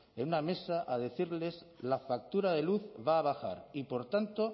en una mesa a decirles la factura de la luz va a bajar y por tanto